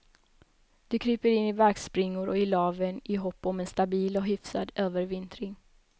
De kryper in i barkspringor och i laven i hopp om en stabil och hyfsad övervintring.